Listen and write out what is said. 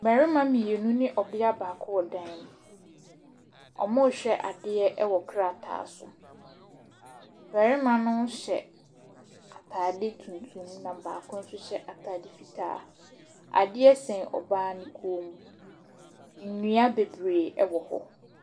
Mmarima mmienu ne ɔbaa baako wɔ dan mu, wɔrehwɛ adeɛ wɔ krataa so, barima no hyɛ ataade tuntum na baako nso hyɛ ataade fitaa. Adeɛ sɛn ɔbaa ne kɔn, nnua bebree wɔ hɔ.